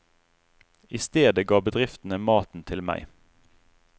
I stedet ga bedriftene maten til meg.